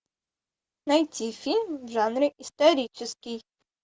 найти фильм в жанре исторический